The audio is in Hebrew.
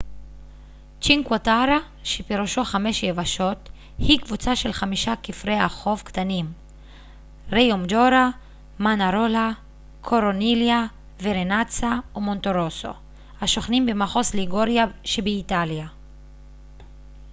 צ'ינקווה טרה שפירושו חמש יבשות היא קבוצה של חמישה כפרי החוף קטנים ריומג'ורה מאנארולה קורניליה ורנאצה ומונטרוסו השוכנים במחוז ליגוריה שבאיטליה